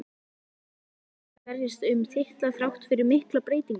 Nær Stjarnan að berjast um titla þrátt fyrir miklar breytingar?